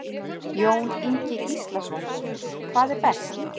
Jón Ingi Gíslason: Hvað er best?